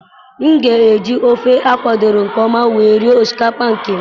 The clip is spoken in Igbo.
M ga eji ofe a kwadoro nke ọma wee rie osikapa nke m.